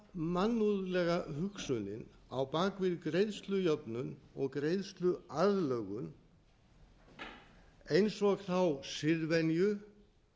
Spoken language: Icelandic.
mannúðlega hugsunin á bak við greiðslujöfnun og greiðsluaðlögun eins og þá siðvenju